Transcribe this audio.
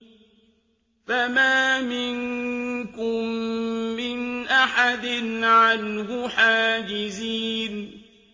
فَمَا مِنكُم مِّنْ أَحَدٍ عَنْهُ حَاجِزِينَ